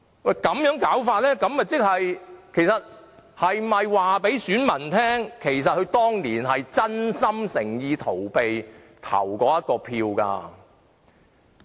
那麼，他們是否要告訴選民，當年是真心誠意要逃避投這一票？